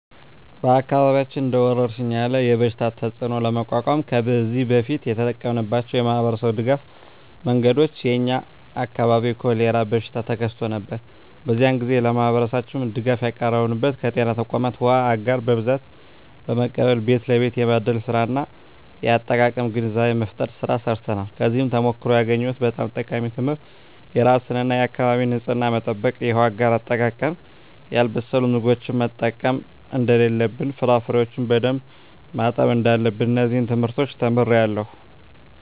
በአካባቢያችን እንደ ወረርሽኝ ያለ የበሽታ ተፅእኖ ለመቋቋም ከዚህ በፊት የተጠቀምንባቸው የማኅበረሰብ ድጋፍ መንገዶች የ የኛ አካባቢ የኮሬላ በሽታ ተከስቶ ነበር። በዚያ ግዜ ለማህበረሠባችን ድጋፍ ያቀረብንበት ከጤና ተቋማት ዉሃ አጋር በብዛት በመቀበል ቤት ለቤት የማደል ስራ እና የአጠቃቀም ግንዛቤ መፍጠር ስራ ሰርተናል። ከዚያ ተሞክሮ ያገኘሁት በጣም ጠቃሚ ትምህርት የራስን እና የአካቢን ንፅህና መጠበቅ፣ የውሃ አጋር አጠቃቀም፣ ያልበሰሉ ምግቦችን መጠቀም እደለለብን፣ ፍራፍሬዎችን በደንብ ማጠብ እዳለብን። እነዚን ትምህርቶች ተምሬአለሁ።